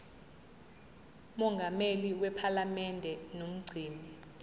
mongameli wephalamende nomgcini